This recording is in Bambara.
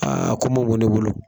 Aa ko ma bo ne bolo.